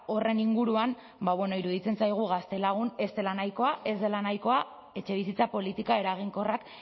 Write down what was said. horren inguruan ba bueno iruditzen zaigu gaztelagun ez dela nahikoa ez dela nahikoa etxebizitza politika eraginkorrak